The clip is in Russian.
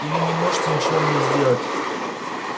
или не можете ничего мне сделать